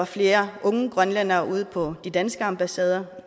flere unge grønlændere ud på de danske ambassader